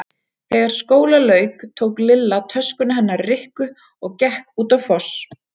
Þegar skóla lauk tók Lilla töskuna hennar Rikku og gekk út á Foss.